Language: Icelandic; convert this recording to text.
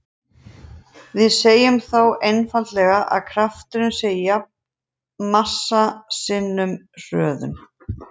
Við segjum þá einfaldlega að krafturinn sé jafn massa sinnum hröðun.